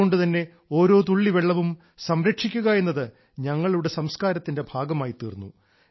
അതുകൊണ്ടുതന്നെ ഓരോ തുള്ളി വെള്ളവും സംരക്ഷിക്കുക എന്നത് ഞങ്ങളുടെ സംസ്കാരത്തിന്റെ ഭാഗമായിത്തീർന്നു